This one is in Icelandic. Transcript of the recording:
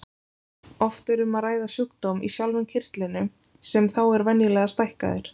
Oft er um að ræða sjúkdóm í sjálfum kirtlinum sem þá er venjulega stækkaður.